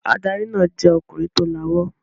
Adarí náà jẹ́ ọkùnrin tó lawọ́.